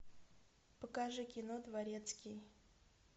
покажи кино дворецкий